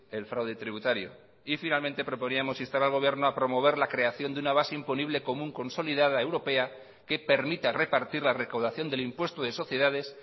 el fraude tributario y finalmente proponíamos instar al gobierno a promover la creación de una base imponible común consolidada europea que permita repartir la recaudación del impuesto de sociedades